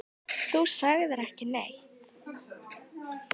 Þú sagðir ekki neitt.